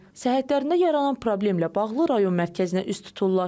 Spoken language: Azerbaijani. Səhhətlərində yaranan problemlə bağlı rayon mərkəzinə üst tuturlar.